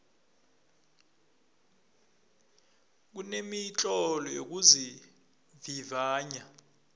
kunemitlolo yokuzivivinya